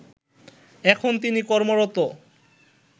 এখন তিনি কর্মরত